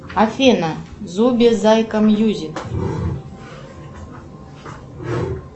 афина зуюи зайка мьюзик